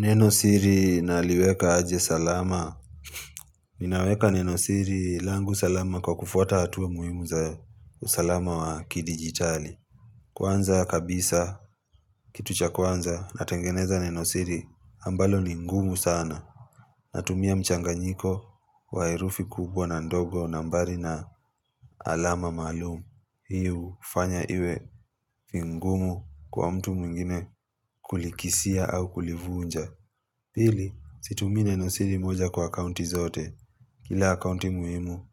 Nenosiri naliweka aje salama? Ninaweka nenosiri langu salama kwa kufuata hatua muhimu za usalama wa kidigitali. Kwanza kabisa, kitu cha kwanza, natengeneza nenosiri ambalo ni ngumu sana. Natumia mchanganyiko, wa herufi kubwa na ndogo nambari na alama maalum. Hii hufanya iwe, vigumu kwa mtu mwingine kulikisia au kulivunja. Pili, situmii nenosiri moja kwa akaunti zote. Kila akaunti muhimu